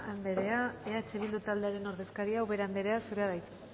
andrea eh bildu taldearen ordezkaria ubera anderea zurea da hitza